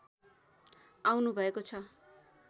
आउनुभएको छ